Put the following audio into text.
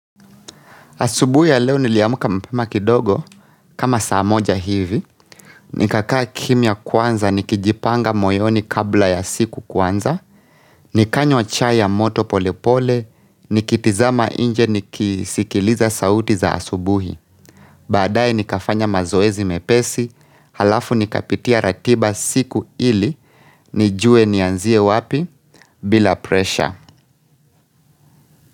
Asubuhi ya leo niliamka mapema kidogo, kama saa moja hivi, nikakaa kimya kwanza, nikijipanga moyoni kabla ya siku kuanza, nikanywa chai ya moto polepole, nikitazama nje nikisikiliza sauti za asubuhi. Baadaye nikafanya mazoezi mepesi, halafu nikapitia ratiba siku ili, nijue nianzie wapi, bila presha.